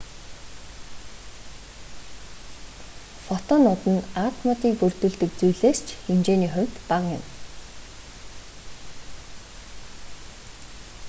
фотонууд нь атомуудыг бүрдүүлдэг зүйлээс ч хэмжээний хувьд бага юм